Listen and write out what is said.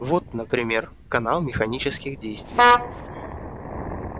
вот например канал механических действий